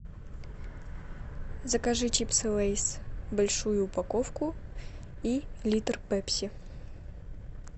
закажи чипсы лейс большую упаковку и литр пепси